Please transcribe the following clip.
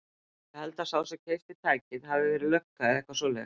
Ég held að sá sem keypti tækið hafi verið lögga eða eitthvað svoleiðis.